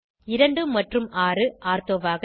2 மற்றும் 6 ஆர்த்தோவாக